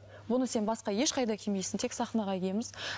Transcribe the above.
бұны сен басқа ешқайда кимейсің тек сахнаға киеміз